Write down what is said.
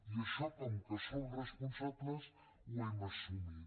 i això com que som responsables ho hem assumit